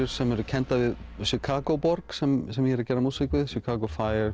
sem eru kenndar við Chicago borg sem sem ég er að gera músík við Chicago